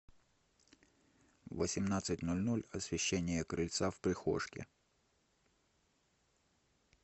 в восемнадцать ноль ноль освещение крыльца в прихожке